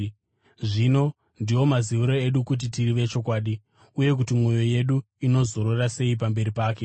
Zvino, ndiwo maziviro edu kuti tiri vechokwadi, uye kuti mwoyo yedu inozorora sei pamberi pake